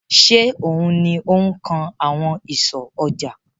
Ṣé òun ni ó kan àwọn ìsọ̀ ọjà?